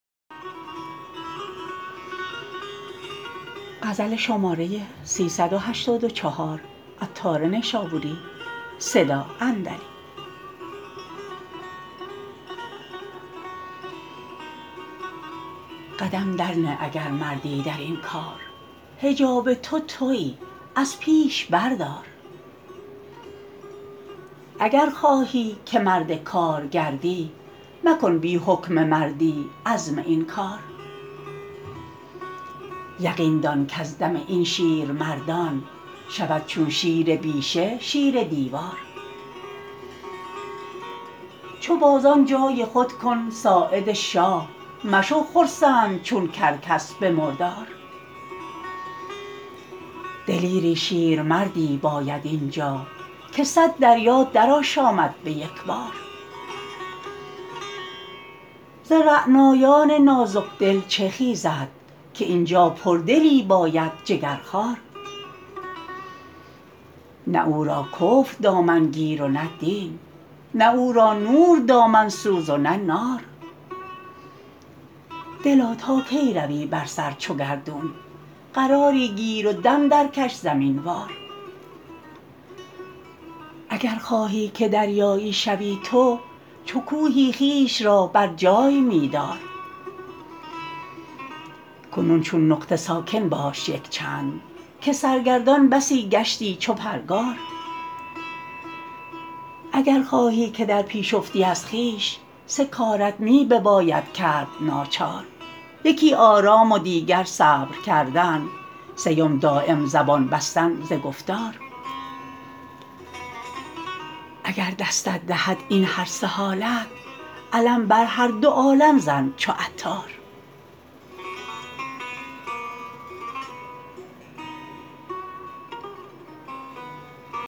قدم درنه اگر مردی درین کار حجاب تو تویی از پیش بردار اگر خواهی که مرد کار گردی مکن بی حکم مردی عزم این کار یقین دان کز دم این شیرمردان شود چون شیر بیشه شیر دیوار چو بازان جای خود کن ساعد شاه مشو خرسند چون کرکس به مردار دلیری شیرمردی باید این جا که صد دریا درآشامد به یکبار ز رعنایان نازک دل چه خیزد که این جا پردلی باید جگرخوار نه او را کفر دامن گیرد و دین نه او را نور دامن سوز و نه نار دلا تا کی روی بر سر چو گردون قراری گیر و دم درکش زمین وار اگر خواهی که دریایی شوی تو چو کوهی خویش را برجای می دار کنون چون نقطه ساکن باش یکچند که سرگردان بسی گشتی چو پرگار اگر خواهی که در پیش افتی از خویش سه کارت می بباید کرد ناچار یکی آرام و دیگر صبر کردن سیم دایم زبان بستن ز گفتار اگر دستت دهد این هر سه حالت علم بر هر دو عالم زن چو عطار